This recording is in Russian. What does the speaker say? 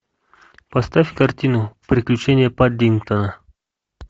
поставь картину приключения паддингтона